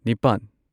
ꯅꯤꯄꯥꯟ